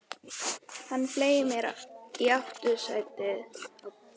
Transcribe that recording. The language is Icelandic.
Hann fleygir sér í aftursætið, við hliðina á mér, og bílstjórinn brunar af stað.